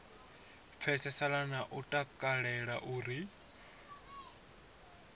pfesesana na u takalela uri